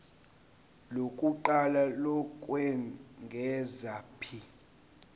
lokuqala lokwengeza p